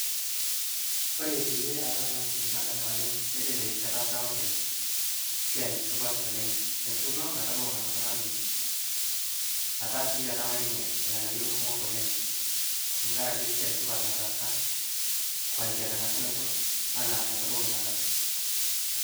kore peiye aadol anaa siai nadamu ajo kedede ketaasa lopeny siai supat oleng etuuno metabau ngamata nadungi etaa sii etamaa ninye lghanayo kumok oleng tankarake siai supat otaasa kuanzia tengasunotoo anaa metabau anaa kataa